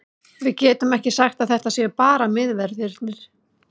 Við getum ekki sagt að þetta séu bara miðverðirnir.